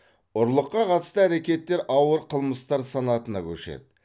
ұрлыққа қатысты әрекеттер ауыр қылмыстар санатына көшеді